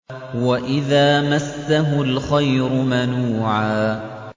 وَإِذَا مَسَّهُ الْخَيْرُ مَنُوعًا